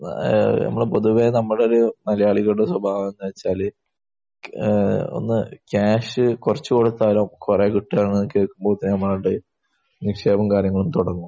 ഏഹ് നമ്മുടെ പൊതുവെ നമ്മുടെയൊരു മലയാളികളുടെ സ്വഭാവമെന്ന് വെച്ചാൽ ഏഹ് ഒന്ന് ക്യാഷ് കുറച്ച് കൊടുത്താൽ കുറെ കിട്ടുകയാണെന്ന് കേൾക്കുമ്പോൾ തന്നെ നിക്ഷേപവും കാര്യങ്ങളും തുടങ്ങും.